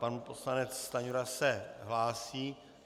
Pan poslanec Stanjura se hlásí.